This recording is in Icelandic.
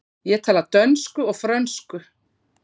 Ég tala dönsku og frönsku.